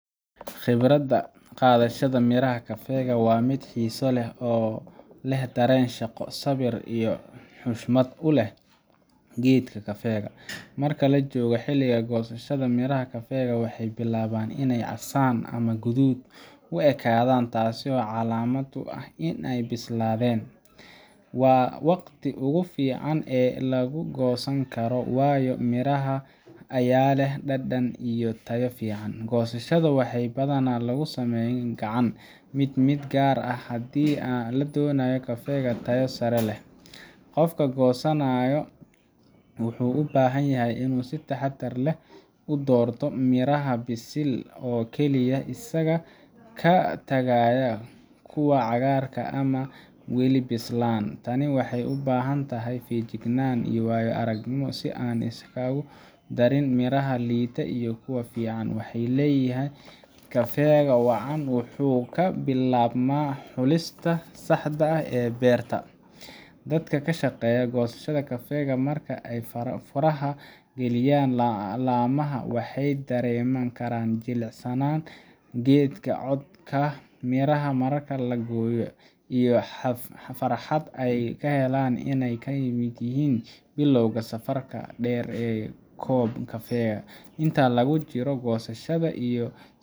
Khibradda qaadashada miraha kafeega waa mid xiiso leh oo leh dareen shaqo, sabir, iyo xushmad u leh geedka kafeega. Marka la joogo xilliga goosashada, miraha kafeega waxay bilaabaan inay casaan ama guduud u ekaadaan, taas oo calaamad u ah inay bislaadeen. Waa waqtiga ugu fiican ee la goosan karo, waayo mirahaas ayaa leh dhadhan iyo tayo fiican. Goosashada waxaa badanaa lagu sameeyaa gacan mid mid gaar ahaan haddii la doonayo kafeeg tayo sare leh. Qofka goosanaya wuxuu u baahan yahay in uu si taxaddar leh u doorto miraha bisil oo keliya, isagoo ka tagaya kuwa cagaarka ah ama weli bislaan. Tani waxay u baahan tahay feejignaan iyo waayo-aragnimo si aan la iskugu darin miraha liita iyo kuwa fiican, maxaa yeelay kafeega wacan wuxuu ka bilaabmaa xulista saxda ah ee beerta. Dadka ka shaqeeya goosashada kafeega, marka ay faraha geliyaan laamaha, waxay dareemaan carafka jilicsan ee geedka, codka miraha marka la gooyo, iyo farxad ay ka helaan inay ka mid yihiin bilowga safarka dheer ee koob kafeega. Inta lagu jiro goosashada, iyo